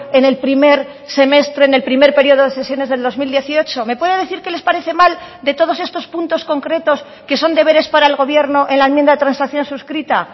en el primer semestre en el primer periodo de sesiones del dos mil dieciocho me puede decir qué les parece mal de todos estos puntos concretos que son deberes para el gobierno en la enmienda de transacción suscrita